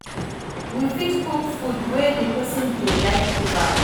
You fit cook food wey di person dey like give am